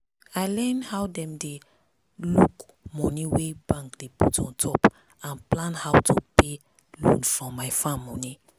i learn how dem dey look money wey bank dey put on top and plan how to pay loan from my farm money.